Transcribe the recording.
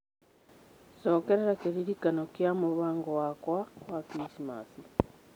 cokerera kĩririkano gĩa mũbango wakwa wa Krismasi